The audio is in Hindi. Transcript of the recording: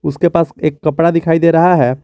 उसके पास एक कपड़ा दिखाई दे रहा है।